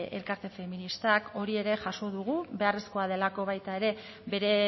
elkarte feministak hori ere jaso dugu beharrezkoa delako baita ere bere